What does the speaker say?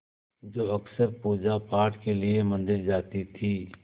जो अक्सर पूजापाठ के लिए मंदिर जाती थीं